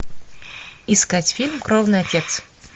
искать фильм кровный отец